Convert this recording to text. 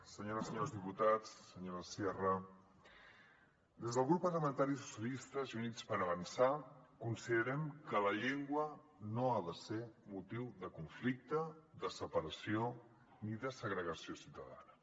senyores i senyors diputats senyora sierra des del grup parlamentari socialistes i units per avançar considerem que la llengua no ha de ser motiu de conflicte de separació ni de segregació ciutadana